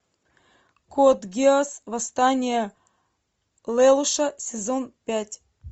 код гиасс восстание лелуша сезон пять